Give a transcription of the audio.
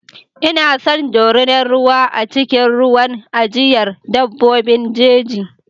Ina son dorinar ruwa a cikin wurin ajiyar dabbobin jeji.